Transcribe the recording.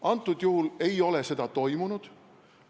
Antud juhul ei ole seda toimunud.